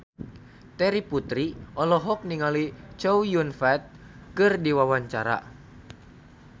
Terry Putri olohok ningali Chow Yun Fat keur diwawancara